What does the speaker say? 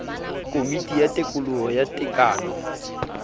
komiti ya tekolo ya tekano